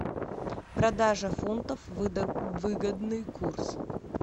продажа фунтов выгодный курс